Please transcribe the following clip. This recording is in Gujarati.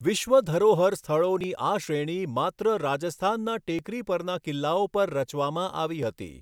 વિશ્વ ધરોહર સ્થળોની આ શ્રેણી માત્ર રાજસ્થાનના ટેકરી પરના કિલ્લાઓ પર રચવામાં આવી હતી.